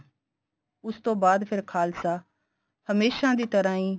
ਉਸ ਤੋਂ ਬਾਅਦ ਫੇਰ ਖਾਲਸਾ ਹਮੇਸ਼ਾ ਦੀ ਤਰ੍ਹਾਂ ਈ